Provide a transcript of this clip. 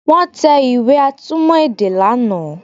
Wọ́n tẹ ìwé atúmọ̀ èdè lánàá